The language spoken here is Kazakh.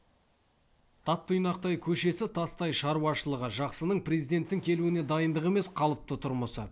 тап тұйнақтай көшесі тастай шаруашылығы жақсының президенттің келуіне дайындығы емес қалыпты тұрмысы